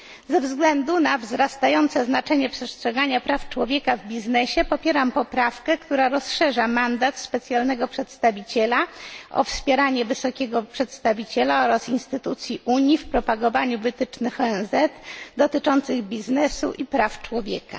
Ze względu na wzrastające znaczenie przestrzegania praw człowieka w biznesie popieram poprawkę, która rozszerza mandat specjalnego przedstawiciela o wspieranie wysokiego przedstawiciela oraz instytucji Unii w propagowaniu wytycznych ONZ dotyczących biznesu i praw człowieka.